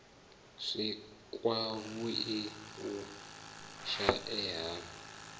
si kwavhui u shaea ha